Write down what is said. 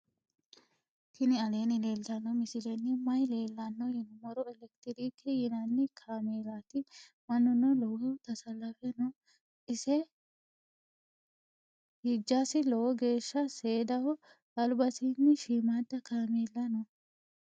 tini aleni leltano misileni maayi leelano yinnumoro. electirc yinani kamelati. maanuno loowohu tasalafe noo. isei hijasi lowo geesha sedaho. albasini shimada kaamela noo.